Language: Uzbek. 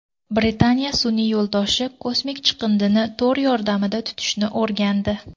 Britaniya sun’iy yo‘ldoshi kosmik chiqindini to‘r yordamida tutishni o‘rgandi.